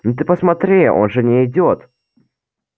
ну ты посмотри он же не идёт